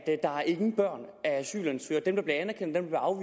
nogen børn af asylansøgere dem der bliver anerkendt og